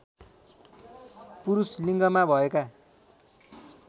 पुरूष लिङ्गमा भएका